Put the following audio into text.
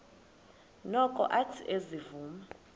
noko athe ezivuma